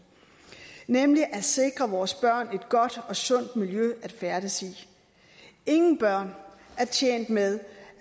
nemlig at sikre vores børn et godt og sundt miljø at færdes i ingen børn er tjent med